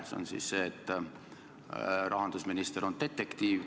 See on siis see, et rahandusminister on detektiiv.